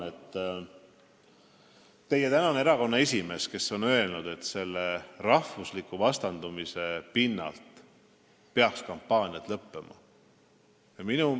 Teie tänane erakonna esimees on öelnud, et kampaaniad rahvusliku vastandumise pinnalt peaksid lõppema.